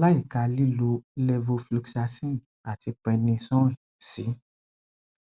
láìka lílo levofloxacin àti prednisone sí